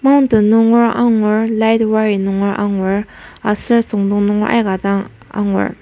Mountain nunger angur light wring nunger angur aser süngdong nunger aika dang angur.